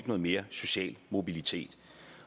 noget mere social mobilitet